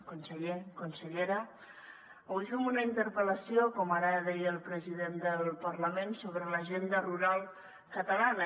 conseller consellera avui fem una interpel·lació com ara deia el president del parlament sobre l’agenda rural catalana